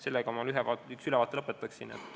Sellega ma ülevaate lõpetan.